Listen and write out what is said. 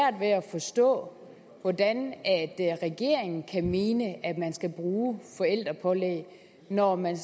forstå hvordan regeringen kan mene at man skal bruge forældrepålæg når man